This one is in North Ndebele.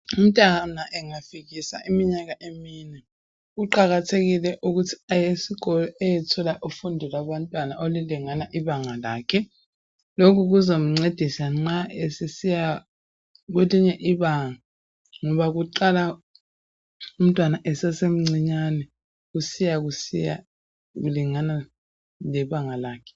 Umntwana angafikisa iminyaka emine kuqakathekile ukuthi aye esikolo ayethola ufundo lwabantwana olulingana ibanga lakhe. Lokho kuzamncedisa nxa esesiya kwelinye ibanga ngoba kuqala umntwana esesemncinyane kusiyakusiya kulingana lebanga lakhe.